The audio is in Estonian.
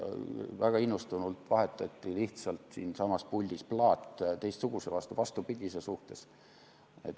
Väga innustunult vahetati lihtsalt siinsamas puldis plaat teistsuguse, vastupidise vastu.